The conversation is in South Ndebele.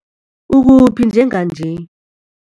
Ukuphi njenganje?